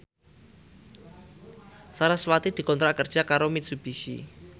sarasvati dikontrak kerja karo Mitsubishi